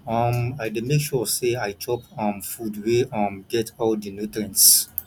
um i dey make sure sey i chop um food wey um get all di nutrients